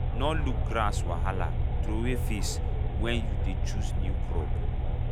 nor look grass wahala throway face wen you dey chose new crop